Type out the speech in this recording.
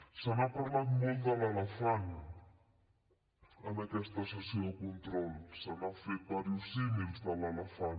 se n’ha parlat molt de l’elefant en aquesta sessió de control se n’han fet diversos símils de l’elefant